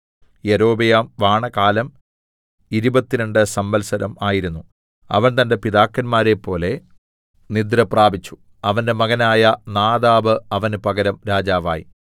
യൊരോബെയാം വാണകാലം ഇരുപത്തിരണ്ട് സംവത്സരം ആയിരുന്നു അവൻ തന്റെ പിതാക്കന്മാരെപ്പോലെ നിദ്രപ്രാപിച്ചു അവന്റെ മകനായ നാദാബ് അവന് പകരം രാജാവായി